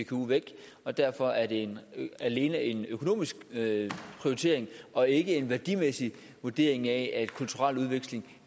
cku væk derfor er det alene en økonomisk prioritering og ikke en værdimæssig vurdering af at kulturel udveksling